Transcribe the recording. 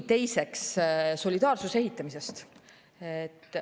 Teiseks, solidaarsuse ehitamisest.